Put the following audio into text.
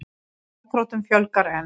Gjaldþrotum fjölgar enn